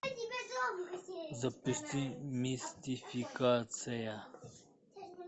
запусти мистификация